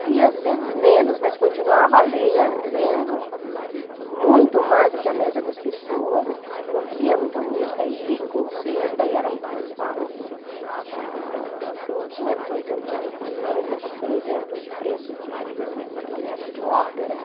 Lia às vezes menos, mas continuava ler lendo muito mais do que a média das pessoas, ouvia muita música, ia em concerto, daí era muito mais fácil, né, ah, porque não tinha restrição, por exemplo, de preço de de ingresso de ópera.